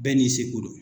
Bɛɛ n'i seko don